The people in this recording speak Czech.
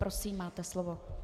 Prosím, máte slovo.